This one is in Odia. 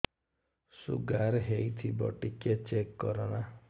ଶୁଗାର ହେଇଥିବ ଟିକେ ଚେକ କର ନା